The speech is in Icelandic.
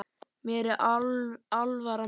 Mér er alvara með þessu.